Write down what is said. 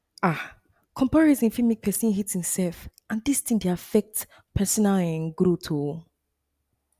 um comparison fit make person hate him self and and dis thing dey affect personal um growth oh